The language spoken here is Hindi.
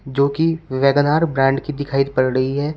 जो कि वेगन आर ब्रांड की दिखाई पड़ रही है।